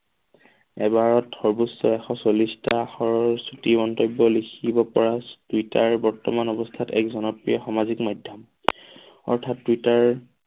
এবাৰত সৰ্ব্বোচ্চ এশ চল্লিছটা আখৰৰ ছুটী মন্তব্য লিখিব পৰা টুইটাৰ বৰ্তমান অৱস্থাত এক জনপ্ৰিয় সামাজিক মাধ্যম অৰ্থাৎ টুইটাৰ